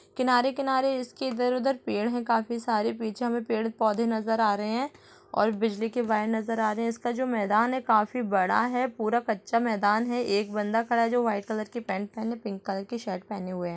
किनारे किनारे इसके इधर-उधर पेड़ है काफी सारे पीछे हमें पेड़ पौधे नजर आ रहे हैं और बिजली के वायर नजर आ रहे हैं जो मैदान है काफी बड़ा है पूरा कच्चा मैदान है एक बंदा खड़ा है जो वाइट कलर के पेंट और पिंक कलर के टी-शर्ट पहने हुए हैं ।